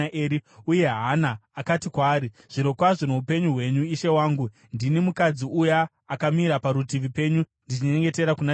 uye Hana akati kwaari, “Zvirokwazvo noupenyu hwenyu ishe wangu, ndini mukadzi uya akamira parutivi penyu ndichinyengetera kuna Jehovha.